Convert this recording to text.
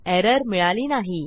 error मिळाली नाही